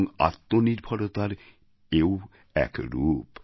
এবং আত্মনির্ভরতার এও এক রূপ